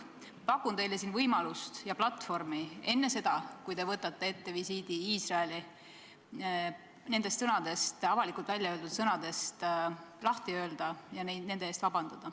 Pakun teile võimalust ja platvormi enne seda, kui te võtate ette visiidi Iisraeli, nendest avalikult väljaöeldud sõnadest lahti öelda ja nende pärast vabandada.